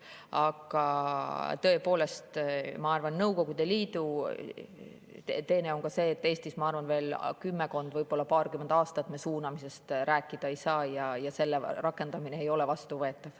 Aga tõepoolest, Nõukogude Liidu teene on ka see, et Eestis, ma arvan, veel kümmekond, aga võib-olla paarkümmend aastat me suunamisest rääkida ei saa ja selle rakendamine ei ole vastuvõetav.